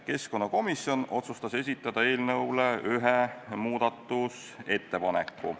Keskkonnakomisjon otsustas esitada eelnõu kohta ühe muudatusettepaneku.